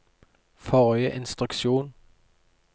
forrige instruksjon